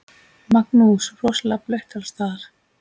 Magnús: Rosalega blautt alls staðar?